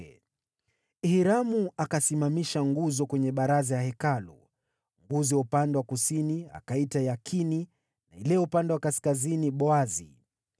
Hiramu akasimamisha nguzo kwenye baraza ya Hekalu. Nguzo ya upande wa kusini akaiita Yakini, na ile ya upande wa kaskazini Boazi.